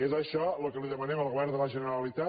és això el que demanem al govern de la generalitat